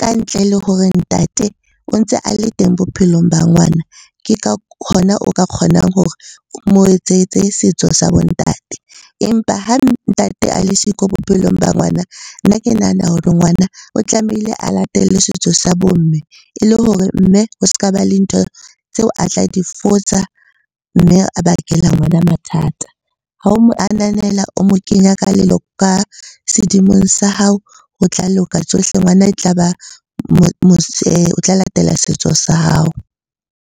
ka ntle le hore ntate o ntse a le teng bophelong ba ngwana. Ke ka hona o ka kgonang hore o mo etsetse setso sa bo ntate. Empa ha ntate a le siko bophelong ba ngwana, ke nahana hore ngwana o tlamehile a latele setso sa bo mme e le hore mme ho s'ka ba le ntho tseo a tla di fosa mme a bakela ngwana mathata. Ha o mo ananela, o mo kenya ka sedimo sa hao. Ho tla loka tsohle, ngwana e tla ba o tla latela setso sa hao.